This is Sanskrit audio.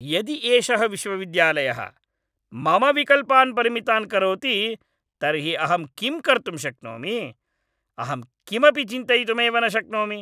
यदि एषः विश्वविद्यालयः मम विकल्पान् परिमितान् करोति तर्हि अहं किं कर्तुं शक्नोमि? अहं किमपि चिन्तयितुमेव न शक्नोमि।